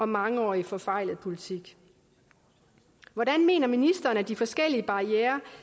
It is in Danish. mangeårig forfejlet politik hvordan mener ministeren at de forskellige barrierer